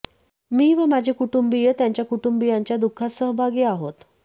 मी व माझे कुटुंबीय त्यांच्या कुटुंबियांच्या दुःखात सहभागी आहोत